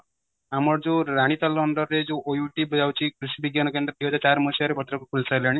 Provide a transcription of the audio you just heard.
ଆମର ଯୋଉ ରାନିତାଲ under ରେ ଯୋଉ OUAT ଯାଉଚି କୃଷି ବିଜ୍ଞାନ କେନ୍ଦ୍ର ଦୁଇ ହଜାର ଚାରି ମସିହା ରେ ଭଦ୍ରକରେ ଖୋଲିସାରିଲାଣି